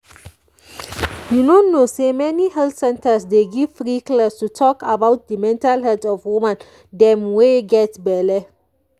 you no know say many health centers dey give free class to talk about the mental health of woman them wey get belle